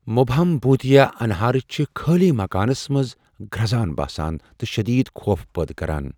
مُبہم، بوٗتیا انہراریہ چھِ خٲلی مكانس منز گرزان باسان ، تہ شدید خوف پٲدٕ كران ۔